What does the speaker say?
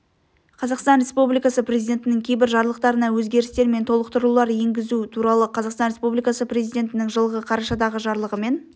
қазақстан республикасы президентінің кейбір жарлықтарына өзгерістер мен толықтырулар енгізу туралы қазақстан республикасы президентінің жылғы қарашадағы жарлығымен